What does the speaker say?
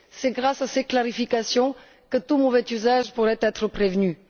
C'est grâce à ces clarifications que tout mauvais usage pourrait être prévenu.